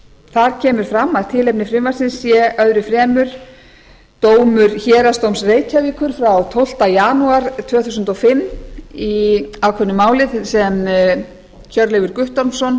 þar kemur fram að tilefni frumvarpsins sé öðru fremur dómur héraðsdóms reykjavíkur frá tólftu janúar tvö þúsund og fimm í ákveðnu máli sem hjörleifur guttormsson